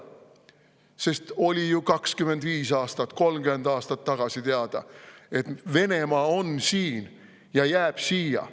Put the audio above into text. Sest oli ju 25 aastat või 30 aastat tagasi teada, et Venemaa on siin ja jääb siia.